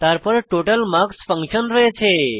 তারপর total marks function রয়েছে